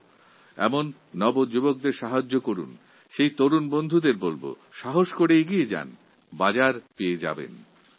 এই উদ্ভাবনের কাজে যুবাদের সাহায্যের জন্য ব্যাংক পরিষেবাকে অনুরোধ করব এবং যুবশক্তিকে বলব এগিয়ে চল বাজার পেয়ে যাবে